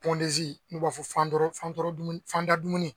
n'u b'a fɔ fandadumuni